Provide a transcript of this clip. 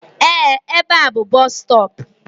Ee, ebe a bú bọs stọọpu.